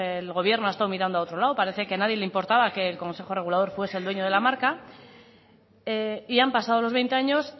el gobierno ha estado mirando a otro lado parece que a nadie le importaba que el consejo regulador fuese el dueño de la marca y han pasado los veinte años